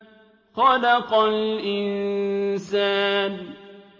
خَلَقَ الْإِنسَانَ